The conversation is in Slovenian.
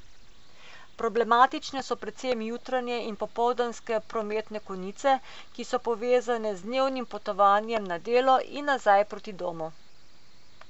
Problematične so predvsem jutranje in popoldanske prometne konice, ki so povezane z dnevnim potovanjem na delo in nazaj proti domu.